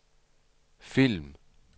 film